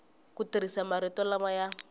ku tirhisa marito lama ya